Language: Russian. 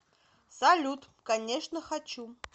салют конечно хочу